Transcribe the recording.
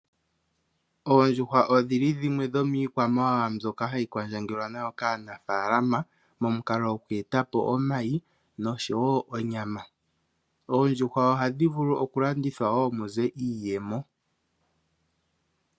Oondjuhwa odhi li dhimwe dhomiikwamawawa mbyoka hayi kwandjangelwa nayo kaanafaalama momukalo go ku e ta po omayi osho wo onyama. Oondjuhwa ohadhi vulu wo oku landithwa po dhi e te po iiyemo.